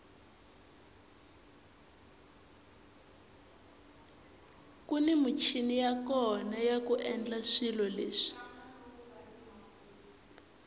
kuni michini ya kona yaku endla swilo leswi